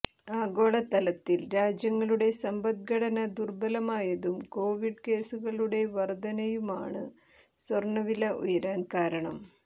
ആഗോളതലത്തിൽ രാജ്യങ്ങളുടെ സമ്പദ്ഘടന ദുർബലമായതും കൊവിഡ് കേസുകളുടെ വർധനയുമാണ് സ്വർണവില ഉയരാൻ കാരണം